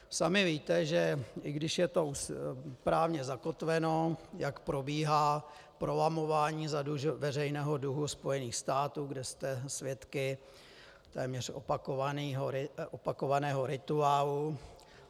Sami víte, že i když je to právně zakotveno, jak probíhá prolamování veřejného dluhu Spojených států, kde jste svědky téměř opakovaného rituálu.